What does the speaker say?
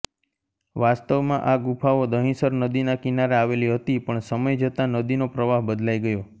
વાસ્તવમાં આ ગુફાઓ દહીંસર નદીના કિનારે આવેલી હતી પણ સમય જતા નદીનો પ્રવાહ બદલાઇ ગયો